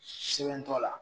Sɛnbɛ t'ola